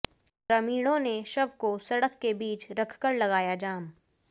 ग्रामीणों ने शव को सड़क के बीच रखकर लगाया जाम